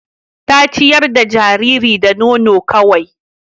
Ta ciyar da jariri da nono kawai